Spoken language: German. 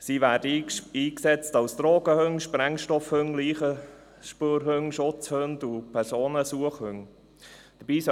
sie werden als Drogenhunde, Sprengstoffhunde, Leichenspürhunde, Schutzhunde und als Personensuchhunde eingesetzt.